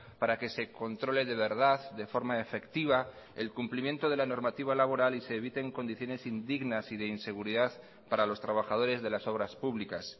para que se controle de verdad de forma efectiva el cumplimiento de la normativa laboral y se eviten condiciones indignas y de inseguridad para los trabajadores de las obras públicas